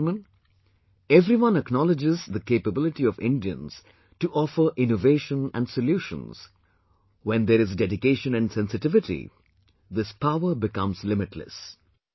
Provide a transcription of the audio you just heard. My dear countrymen, everyone acknowledges the capability of Indians to offer innovation and solutions, when there is dedication and sensitivity, this power becomes limitless